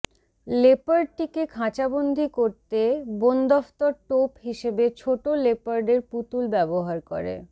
লেপার্ডটিকে খাঁচাবন্দি করতে বনদফতর টোপ হিসেবে ছোটো লেপার্ডের পুতুল ব্যবহার করে